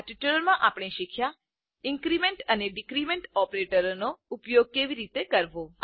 આ ટ્યુટોરીયલમાં આપણે શીખ્યા ઇન્ક્રીમેન્ટ અને ડીક્રીમેન્ટ ઓપરેટરોનો ઉપયોગ કેવી રીતે કરવો